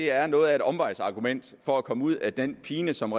er noget af et omvejsargument for at komme ud af den pine som